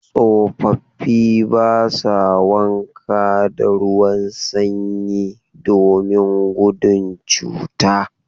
Tsofafi ba sa wanka da ruwan sanyi domin gudun cuta..